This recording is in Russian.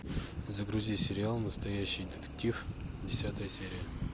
загрузи сериал настоящий детектив десятая серия